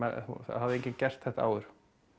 hafði enginn gert þetta áður